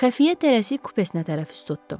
Xəfiyə tərəsi kupesinə tərəf tutdu.